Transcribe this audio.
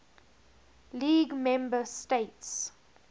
league member states